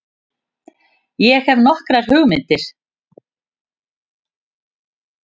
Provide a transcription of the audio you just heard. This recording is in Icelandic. Ég hefi nokkrar hugmyndir.